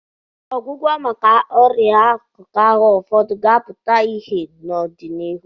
Ọgwụgwọ maka ọrịa akụkụ ahụ ụfọdụ ga-apụta ìhè n'ọdịnihu.